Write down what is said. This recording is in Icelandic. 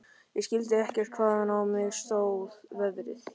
Ég skildi ekkert hvaðan á mig stóð veðrið.